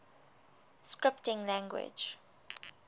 scripting languages